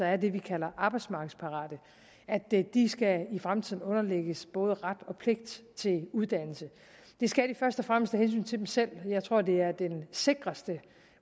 er det vi kalder arbejdsmarkedsparate i fremtiden skal underlægges både ret og pligt til uddannelse det skal de først og fremmest af hensyn til dem selv jeg tror at det er den sikreste